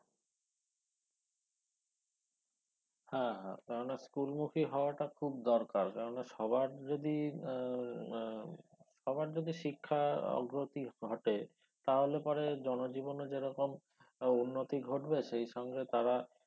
হ্যা হ্যা কেননা school মুখী হওয়াটা খুব দরকার কেননা সবার যদি আহ আহ সবার যদি শিক্ষার অগ্রতি ঘটে তাহলে পরে জনজীবনে যে রকম আহ উন্নতি ঘটবে সেই সঙ্গে তারা